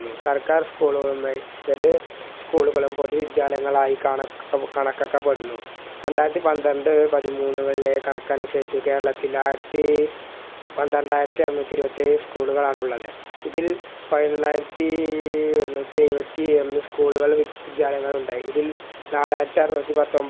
രണ്ടായിരത്തി പന്ത്രണ്ട് പതിമൂന്ന് കളിലെ കണക്കനുസരിച് കേരളത്തിൽ ആയിര്ത്തി പന്ത്രണ്ടായിരത്തി അറുന്നൂറ്റിരുപത്തേഴ് school കളാണുള്ളത് ഇതിൽ പയിനൊന്നായിരത്തി ഇരുന്നൂറ്റിഎഴുപത്തി ഒന്ന് school കൾ വിദ്യാലയങ്ങൾ ഉണ്ടായി ഇതിൽ നാലായിരത്തി ആറുന്നൂറ്റി